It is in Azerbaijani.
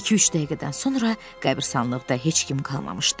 İki-üç dəqiqədən sonra qəbiristanlıqda heç kim qalmamışdı.